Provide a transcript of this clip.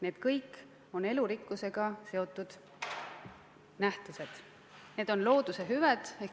Need kõik on elurikkusega seotud nähtused, need on looduse hüved.